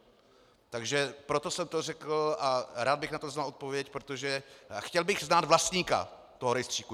Takže proto jsem to řekl a rád bych na to znal odpověď, protože chtěl bych znát vlastníka toho rejstříku.